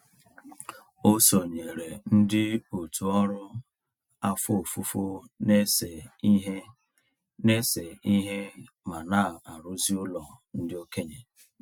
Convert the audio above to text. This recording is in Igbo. O sonyeere ndị òtù ọrụ afọ ofufo na-ese ihe na-ese ihe ma na-arụzi ụlọ ndị okenye.